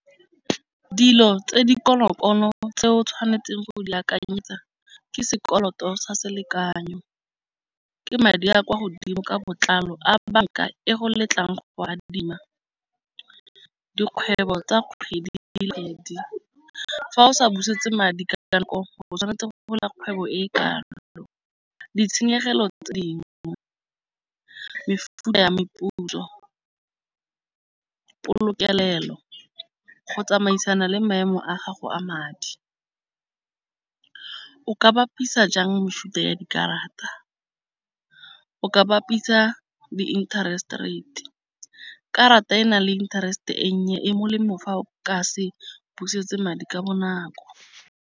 Dilo tse di konokono tse o tshwanetseng go di akanyetsa ke sekoloto sa selekanyo. Ke madi a kwa godimo ka botlalo a banka e go letlang go go adima dikgwebo tsa kgwedi le kgwedi. Fa o sa busetse madi ka nako gore go tshwanetse go fetola kgwebo e ka nako ditshenyegelo tse dingwe mefuta ya meputso polokelo. Go tsamaisana le maemo a gago a madi. O ka bapisa jang mefuta ya dikarata ka bapisa di-interest rate. Karata e nang le interest e nnye e molemo fa o ka se busetse madi ka bonako.